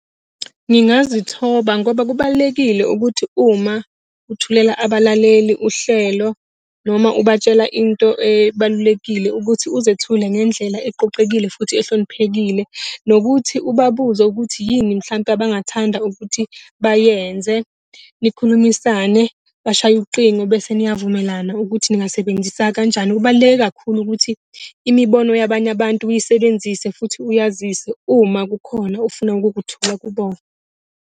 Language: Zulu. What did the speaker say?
Ngingazithoba ngoba kubalulekile ukuthi uma uthulela abalaleli uhlelo noma ubatshele into ebalulekile ukuthi uzethule ngendlela eqoqekile futhi ehloniphekile, nokuthi ubabuze ukuthi yini mhlampe abangathanda ukuthi bayenze. Nikhulumisane, bashaye ucingo bese niyavumelana ukuthi ngingasebenzisa kanjani. Kubaluleke kakhulu ukuthi imibono yabanye abantu uyisebenzise futhi uyazise uma kukhona ofuna ukukuthola kubona.